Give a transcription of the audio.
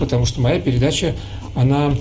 потому что моя передача она